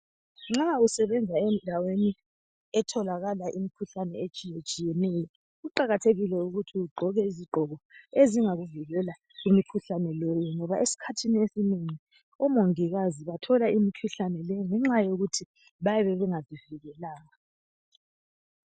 Nxs usebenza endaweni etholakala imkhuhlane etshiyetshiyeneyo kuqakathekile ukuthi ugqoke izigqoka ezingakuvikela kumikhuhlane leyi ngoba esikhathini esinengi omongikazi bathola imikhuhlane leyi ngenxa yokuthi bayabe bengazivikelanga